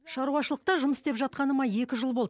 шаруашылықта жұмыс істеп жатқаныма екі жыл болды